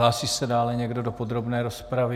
Hlásí se dále někdo do podrobné rozpravy?